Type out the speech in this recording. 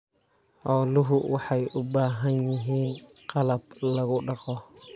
Xooluhu waxay u baahan yihiin qalab lagu dhaqo.